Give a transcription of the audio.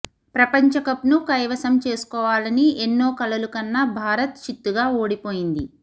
ప్రపంచకప్ను కైవసం చేసుకోవాలని ఎన్నో కలలు కన్న భారత్ చిత్తుగా ఓడిపోయింది